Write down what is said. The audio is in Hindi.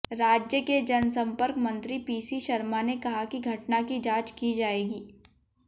राज्य के जनसंपर्क मंत्री पीसी शर्मा ने कहा कि घटना की जांच की जाएगी